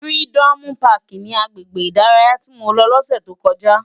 Fìrídòmú pàkí ni àgbégbé idàráyá ti mó lò lòsè tókòjá